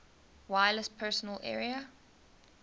wireless personal area